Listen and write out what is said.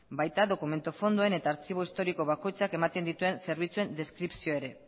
baita dokumentu fondoen eta artxibo historiko bakoitzak ematen dituen zerbitzuen deskripzioa ere